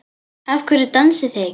Af hverju dansið þið ekki?